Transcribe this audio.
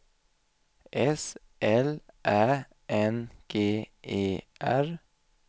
S L Ä N G E R